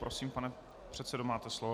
Prosím, pane předsedo, máte slovo.